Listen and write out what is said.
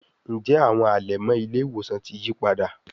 Njé Àwọn alẹmọ ile-iwosan tí yípadà?